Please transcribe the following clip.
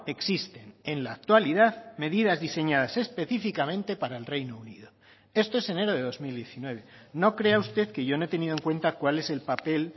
existen en la actualidad medidas diseñadas específicamente para el reino unido esto es enero de dos mil diecinueve no crea usted que yo no he tenido en cuenta cuál es el papel